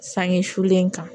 Sange sulen kan